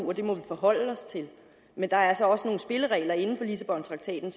og det må vi forholde os til men der er altså også nogle spilleregler inden for lissabontraktaten